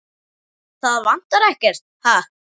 Það vantar ekkert, ha?